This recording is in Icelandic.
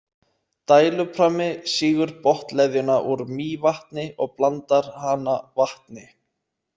Dæluprammi sýgur botnleðjuna úr Mývatni og blandar hana vatni.